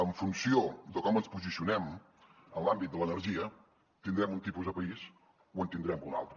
en funció de com ens posicionem en l’àmbit de l’energia tindrem un tipus de país o en tindrem un altre